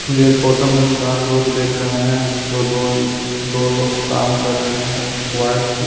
मुझे फोटो में चार लोग देख रहे हैं जो दो ल दो लोग काम कर रहे हैं एक वाइट --